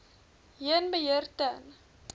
heen beheer ten